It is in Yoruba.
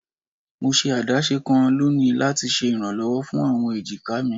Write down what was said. Mo ṣe adaṣe kan loni lati ṣe iranlọwọ fun awọn ejika mi